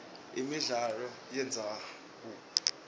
imidlalo yemdzabu